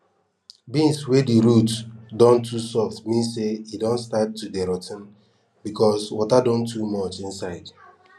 beans wey di root don too soft mean say e don start to dey rot ten becos water don too much inside